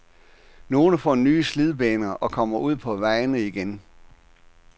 Nogle får nye slidbaner og kommer ud på vejene igen.